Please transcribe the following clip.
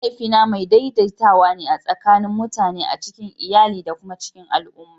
Mahaifina mai daidaitawa ne tsakanin mutane a cikin iyali da kuma cikin al'umma.